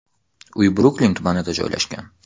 Uy Bruklin tumanida joylashgan.